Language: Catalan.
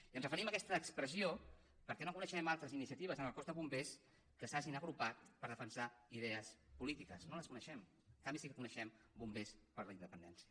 i ens referim a aquesta expressió perquè no coneixem altres iniciatives en el cos de bombers que s’hagin agrupat per defensar idees polítiques no les coneixem en canvi sí que coneixem bombers per la independència